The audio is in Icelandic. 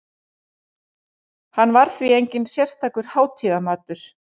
Hann var því enginn sérstakur hátíðamatur.